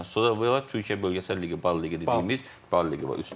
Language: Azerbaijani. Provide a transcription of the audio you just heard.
Sonra Türkiyə bölgəsəl liqası, bal liqası dediyimiz, bal liqası var.